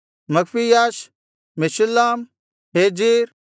Magpiash Meshullam Hezir